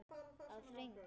Að hring!